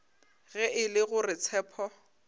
ge e le gore tshepo